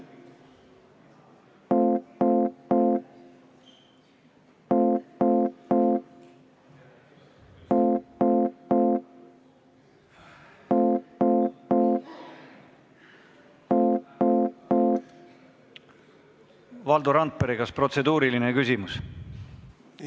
Valdo Randpere, kas protseduuriline küsimus?